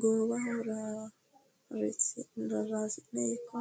Goowaho rarasi'ne ikko